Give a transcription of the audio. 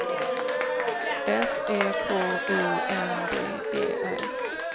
S E K U N D E R